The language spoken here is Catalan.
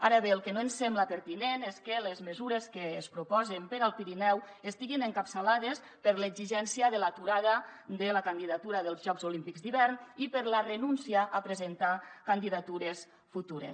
ara bé el que no ens sembla pertinent és que les mesures que es proposen per al pirineu estiguin encapçalades per l’exigència de l’aturada de la candidatura dels jocs olímpics d’hivern i per la renúncia a presentar candidatures futures